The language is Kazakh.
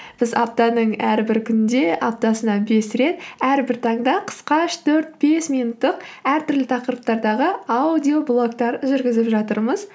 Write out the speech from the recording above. біз аптаның әрбір күнінде аптасына бес рет әрбір таңда қысқа үш төрт бес минуттық әртүрлі тақырыптардағы аудиоблогтар жүргізіп жатырмыз